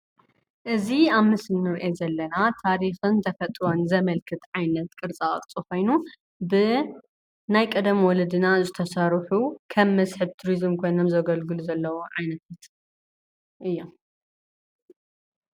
እዚ ኣብ ምስሊ እንሪኦ ዘለና ታሪኽን ተፈጥሮን ዘመልክት ዓይነት ቅርፃ ቕርፂ ኮይኑ ብናይ ቀደም ወለድና ዝተሰርሑ ከም መስሕብ ቱሪዝም ኮይኖም ዘገልግሉ ዘለዉ ዓይነት እዮም፡፡